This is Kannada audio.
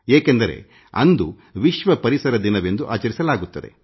ಏಕೆಂದರೆ ಅಂದು ವಿಶ್ವ ಪರಿಸರ ದಿನವೆಂದು ಆಚರಿಸಲಾಗುತ್ತದೆ